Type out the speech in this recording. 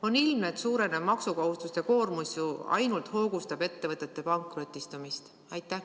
On ilmne, et suurenev maksukohustuste koormus ju ainult hoogustab ettevõtete pankrotistumist.